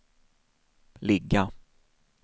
ligga